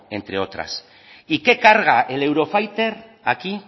entre otras y qué carga el eurofighter aquí